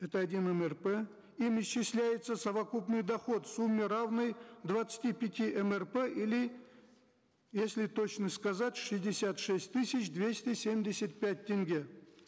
это один мрп им исчисляется совокупный доход в сумме равной двадцати пяти мрп или если точно сказать шестьдесят шесть тысяч двести семьдесят пять тенге